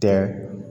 Tɛ